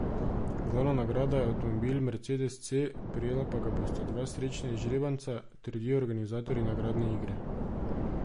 Glavna nagrada je avtomobil mercedes C, prejela pa ga bosta dva srečna izžrebanca, trdijo organizatorji nagradne igre.